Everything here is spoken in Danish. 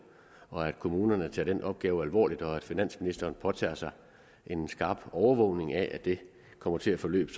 og at kommunerne tager den opgave alvorligt og at finansministeren påtager sig en skarp overvågning af at det kommer til at forløbe